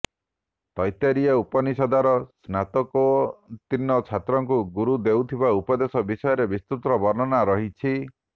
ତୈତେରିୟ ଉପନିଷଦରେ ସ୍ନାତୋକୋତୀର୍ଣ୍ଣ ଛାତ୍ରକୁ ଗୁରୁ ଦେଉଥିବା ଉପଦେଶ ବିଷୟରେ ବିସ୍ତୃତ ବର୍ଣ୍ଣନା ରହିଛି